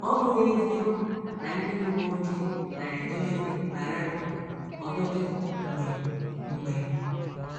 Ọ́ bụghị eziokwu na ndị uwe ojii na - eje ozi bara uru ọtụtụ mgbe mgbe?